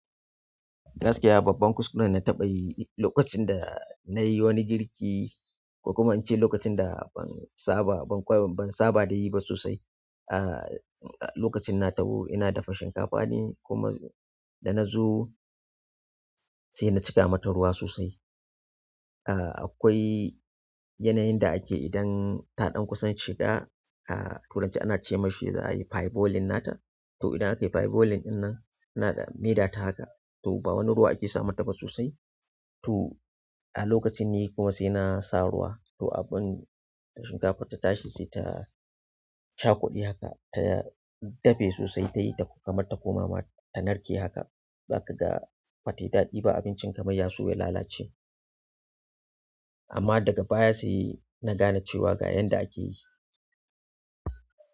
Gaskiya babban kuskuren na taɓa yi lokacin da na yi wani girki ko kuma in ce lokacin da ban saba da yi ba sosai. Aaa lokacin na taho ina dafa shinkafa ne kuma da na zo sai na cika mata ruwa sosai. Aaa akwai yanayin da ake idan taɗan kusan shida, a turance ana ce mashi za a yi pie boiling nata. To idan akai per boiling ɗin nan ana maida ta haka to bawani ruwa ake samata ba sosai to a lokacin ne kuma sai na sa ruwa to abin shinkafar ta tashi sai ta cakude haka ta dafe sosai ta yi da kuma ta koma ma ta narke haka. Ba ka ga ba ta yi daɗi ba abincin kamar yaso ya lalace. Amma daga baya sai na gane cewa ga yanda akeyi.